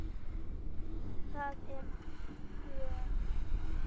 Það er gjöf.